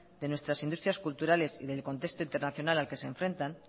de nuestras industrias culturales y del contexto internacional al que se enfrentan